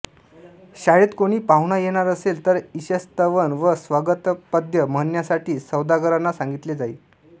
शाळेत कॊणी पाहुणा येणार असेल तर ईशस्तवन व स्वागतपद्य म्हणण्यासाठी सौदागरांना सांगितले जाई